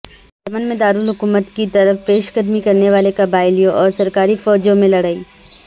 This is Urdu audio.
یمن میں دارالحکومت کی طرف پیش قدمی کرنے والے قبائلیوں اور سرکاری فوجوں میں لڑائی